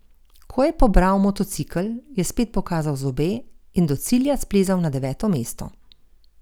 Ko je pobral motocikel, je spet pokazal zobe in do cilja splezal na deveto mesto.